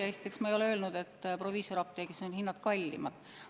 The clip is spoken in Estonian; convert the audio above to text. Esiteks ma ei ole öelnud, et proviisoriapteegis on hinnad kallimad.